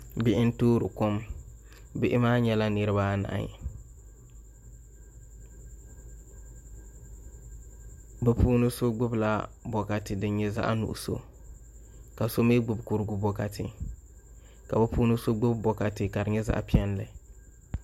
Bihi n toori kom bihi maa nyɛla niraba anahi bi puuni so gbubila bokati din nyɛ zaɣ nuɣso ka so mii gbubi kurigu bokati ka bi puuni so gbubi bikati ka di nyɛ zaɣ piɛlli